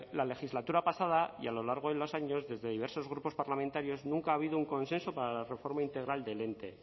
la legislatura pasada y a lo largo de los años desde diversos grupos parlamentarios nunca ha habido un consenso para la reforma integral del ente